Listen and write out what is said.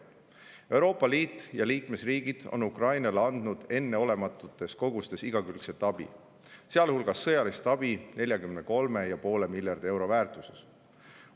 Euroopa Liit ja liikmesriigid on Ukrainale andnud enneolematutes kogustes igakülgset abi, sealhulgas sõjalist abi 43,5 miljardi euro väärtuses.